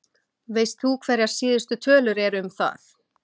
Veist þú hverjar síðustu tölur eru um það?